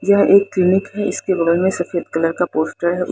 यह एक क्लीनिक है इसके बगल में सफेद कलर का पोस्टर है।